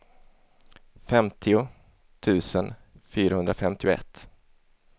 femtio tusen fyrahundrafemtioett